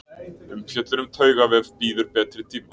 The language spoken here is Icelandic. Umfjöllun um taugavef bíður betri tíma.